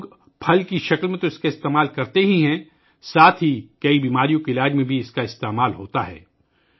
لوگ اسے نہ صرف پھل کی شکل میں استعمال کرتے ہیں بلکہ اسے کئی بیماریوں کے علاج میں بھی استعمال کیا جاتا ہے